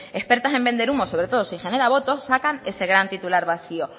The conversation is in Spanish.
expertas en vender humo sobre todo si genera voto sacan ese gran titular vacío